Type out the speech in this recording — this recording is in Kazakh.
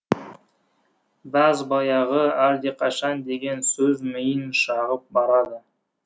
бәз баяғы әлдеқашан деген сөз миын шағып барады